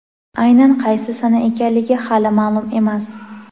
Aynan qaysi sana ekanligi hali ma’lum emas.